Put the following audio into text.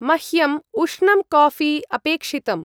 मह्यम् उष्णं काऴी अपेक्षितम्।